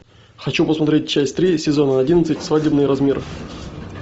хочу посмотреть часть три сезона одиннадцать свадебный размер